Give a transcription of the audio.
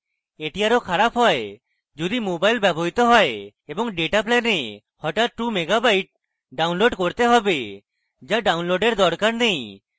এটি আরো খারাপ হয় যদি mobile ব্যবহৃত হয় এবং ডেটা plan হঠাৎ 2 megabytes download করতে হবে যা download দরকার নেই